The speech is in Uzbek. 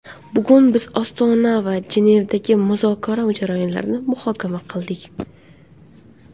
Bugun biz Ostona va Jenevadagi muzokara jarayonlarini muhokama qildik.